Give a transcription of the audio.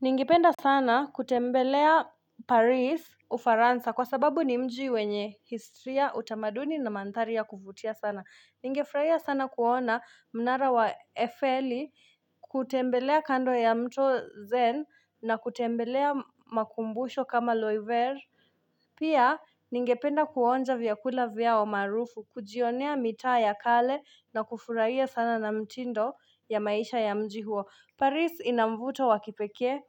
Ningependa sana kutembelea Paris Ufaransa kwa sababu ni mji wenye historia utamaduni na mandhari ya kuvutia sana. Ningefurahia sana kuona mnara wa Eiffel kutembelea kando ya mto zen na kutembelea makumbusho kama Loiver. Pia ningependa kuonja vyakula vyao maarufu, kujionea mitaa ya kale na kufurahia sana na mtindo ya maisha ya mji huo. Paris ina mvuto wa kipekee,